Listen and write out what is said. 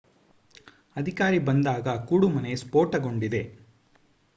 ಅಧಿಕಾರಿ ಬಂದಾಗ ಕೂಡುಮನೆ ಸ್ಫೋಟಗೊಂಡಿದೆ